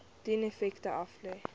dien effekte aflê